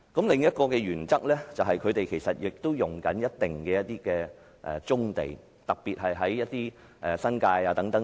另一原則涉及的，就是業界其實正在佔用一定面積的棕地，特別是新界的棕地。